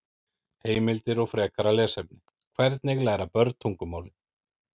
Heimildir og frekara lesefni: Hvernig læra börn tungumálið?